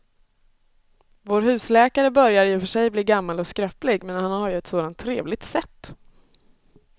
Vår husläkare börjar i och för sig bli gammal och skröplig, men han har ju ett sådant trevligt sätt!